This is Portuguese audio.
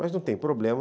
Mas não tem problema.